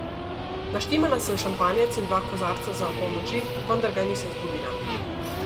Naštimala sem šampanjec in dva kozarca za opolnoči, vendar ga nisem zbudila.